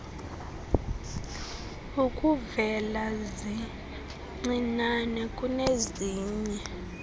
ukuvela zincinane kunezinye